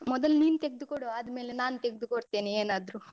ಮೊದಲು ನೀನ್ ತೆಗ್ದುಕೊಡು ಆದ್ಮೇಲೆ ನಾನು ತೆಗ್ದುಕೊಡ್ತೇನೆ ಏನಾದ್ರು.